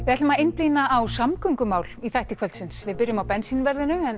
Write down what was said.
ætlum að einblína á samgöngumál í þætti kvöldsins við byrjum á bensínverðinu en